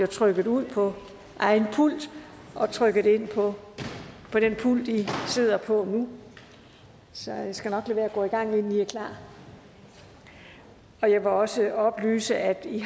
trykket ud på egen pult og trykket ind på den pult i sidder på nu så jeg skal nok lade være at gå i gang inden i er klar jeg vil også oplyse at i